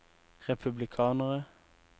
republikanere